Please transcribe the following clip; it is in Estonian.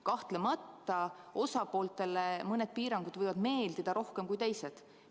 Kahtlemata osapooltele mõned piirangud võivad meeldida rohkem kui teised.